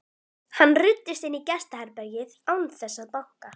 Hann ruddist inn í gestaherbergið án þess að banka.